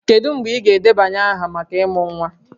Kedu mgbe ị ga-edebanye aha maka ịmụ nwa?